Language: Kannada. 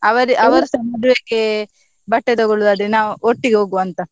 ಅವರ್~ ಅವರ್ಸಾ ಮದ್ವೆಗೆ ಬಟ್ಟೆ ತೊಗೊಳುದಾದ್ರೆ ನಾವ್ ಒಟ್ಟಿಗೆ ಹೋಗುವ ಅಂತ.